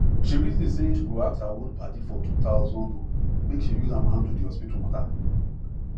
she reason say she go ask her old padi for 2000 loan make she use am handle the hospital matter